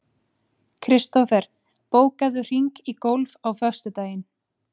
Kristofer, bókaðu hring í golf á föstudaginn.